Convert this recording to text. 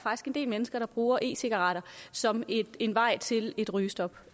en del mennesker der bruger e cigaretter som en vej til et rygestop